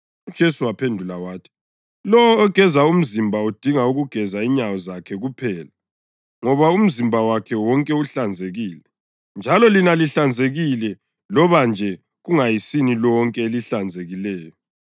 UJesu waphendula wathi, “Lowo ogeze umzimba udinga ukugeza inyawo zakhe kuphela, ngoba umzimba wakhe wonke uhlanzekile. Njalo lina lihlanzekile loba nje kungayisini lonke elihlanzekileyo.”